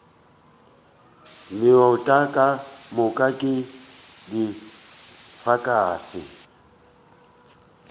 meuta ka moka ke difankase